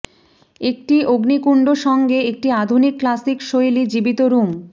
একটি অগ্নিকুণ্ড সঙ্গে একটি আধুনিক ক্লাসিক শৈলী জীবিত রুম